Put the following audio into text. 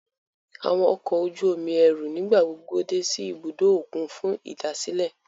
Awọn ọkọ oju-omi ẹru nigbagbogbo dé si ìbùdó okùn fún idasilẹ